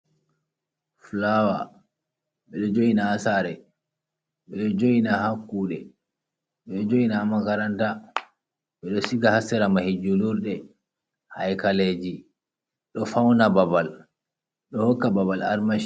Flawer. Ɓe jo'ina ha sare, ɓe jo'ina ha kuɗe, ɓe jo'ina ha makaranta, ɓeɗo siga ha sera mahi julurde, haikaleji. Ɗo fauna babal ɗo hokka babal armashi.